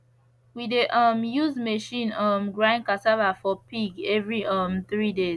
we dey um use machine um grind cassava for pig every um three days